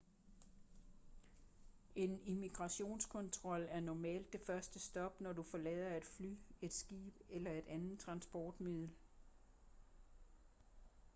en immigrationskontrol er normalt det første stop når du forlader et fly et skib eller et andet transportmiddel